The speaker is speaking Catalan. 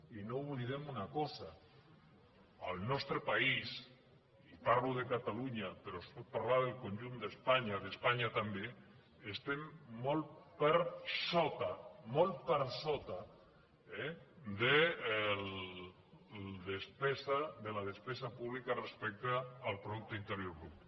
i no oblidem una cosa el nostre país i parlo de catalunya però es pot parlar del conjunt d’espanya d’espanya també estem molt per sota molt per sota de la despesa pública respecte al producte interior brut